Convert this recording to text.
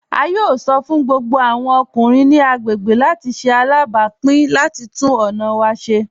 A yóò sọ́ fún gbogbo awọn ọkùnrin ni agbegbé láti ṣè alábápìn láti túnn ọna wa ṣè laipẹ.